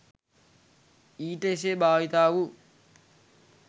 ඊට එසේ භාවිතා වූ